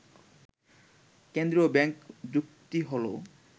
কেন্দ্রীয় ব্যাংক যুক্তি হলো